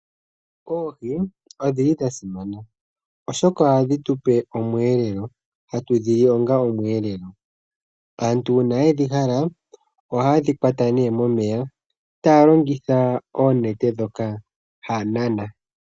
Oohi odhili dhasimana oshoka ohadhi tupe omweelelo, hata dhi li onga omweelelo. Aantu uuna yedhi hala, ohaye dhi kwata nee momeya taya longitha oonete dhoka haya nana.